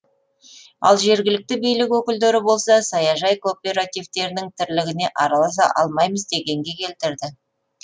ал жергілікті билік өкілдері болса саяжай кооперативтерінің тірлігіне араласа алмаймыз дегенге келтірді